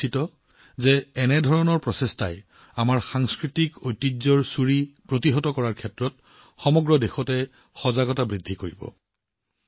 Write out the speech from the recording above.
মই নিশ্চিত যে এনে প্ৰচেষ্টাৰ দ্বাৰা সমগ্ৰ দেশতে আমাৰ সাংস্কৃতিক ঐতিহ্যৰ চুৰি প্ৰতিৰোধৰ ক্ষেত্ৰত সজাগতা বৃদ্ধি পাব